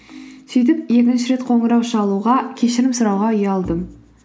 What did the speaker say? сөйтіп екінші рет қоңырау шалуға кешірім сұрауға ұялдым